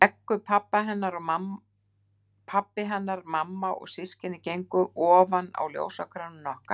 Beggu, pabbi hennar og mamma og systkini gengu ofan á ljósakrónunni okkar.